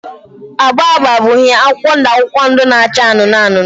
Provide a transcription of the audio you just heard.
agba agba bụ uhie, akwụkwọ ndụ akwụkwọ ndụ na acha anụnụ anụnụ